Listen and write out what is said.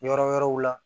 Yɔrɔ wɛrɛw la